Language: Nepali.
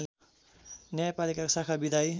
न्यायपालिका शाखा विधायी